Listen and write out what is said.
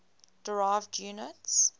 derived units